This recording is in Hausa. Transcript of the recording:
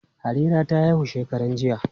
Harira ta haihu shekaran jiya.